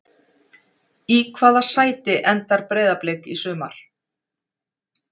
Í hvaða sæti endar Breiðablik í sumar?